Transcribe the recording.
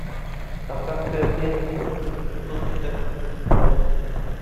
кавказская пленница тысяча девятьсот шестьдесят седьмой